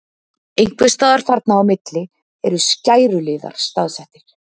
einhvers staðar þarna á milli eru skæruliðar staðsettir